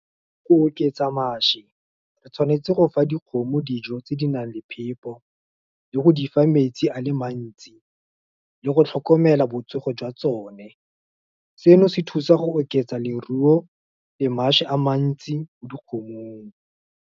Go oketsa mašwi, re tshwanetse go fa dikgomo dijo tse di nang le phepo, le go di fa metsi a le mantsi, le go tlhokomela botsogo jwa tsone. Seno se thusa go oketsa leruo, le mašwi a mantsi, mo dikgomong.